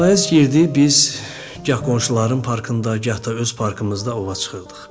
Payız girdi, biz gah qonşuların parkında, gah da öz parkımızda ova çıxırdıq.